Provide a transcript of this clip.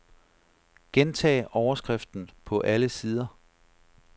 Gentag overskriften på alle sider.